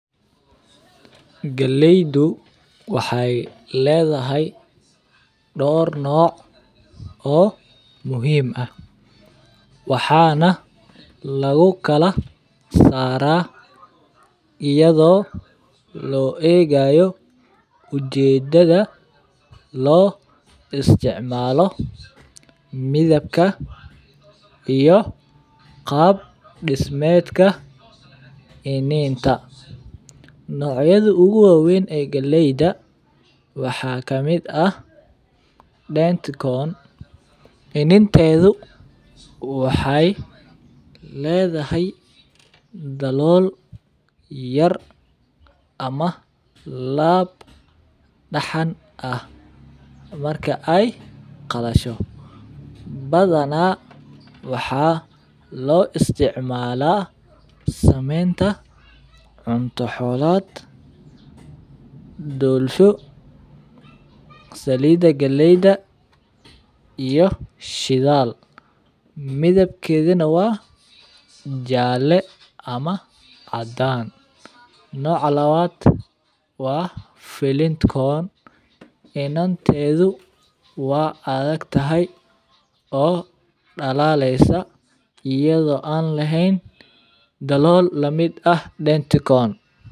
Galeydu waxey ledhahay dor noc oo muhiim ah waxana lagu kala sara iyada oo lo egayo ujedadha lo isticmalo midabka iyo qab diameedka kininta in ee galeyda waxaa kamiid ah dent corn waxey ledhahay dalol yar ama lab daxan ah marka ee qalasho badana waxa lo isticmala samenta cunto xolaad dolsho salida galeyda iyo shidhal midabkedana waa jale ama cadan noca lawaad waa flint corn inantedu waa adhagtahay oo dalaleysa iyadho an lehen dalol lamid ah [cs[denti corn.